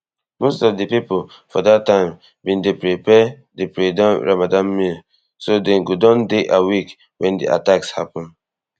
most of di pipo for dat time bin dey prepare di predawn ramadan meal so dem go don dey awake wen di attacks happun